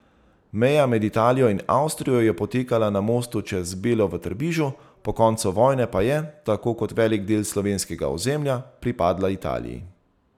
Meja med Italijo in Avstrijo je potekala na mostu čez Belo v Trbižu, po koncu vojne pa je, tako kot velik del slovenskega ozemlja, pripadla Italiji.